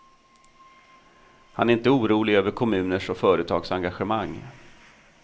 Han är inte orolig över kommuners och företags engagemang.